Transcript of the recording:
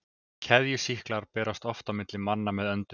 Keðjusýklar berast oft milli manna með öndun.